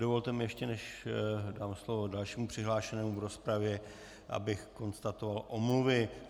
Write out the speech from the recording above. Dovolte mi, ještě než dám slovo dalšímu přihlášenému v rozpravě, abych konstatoval omluvy.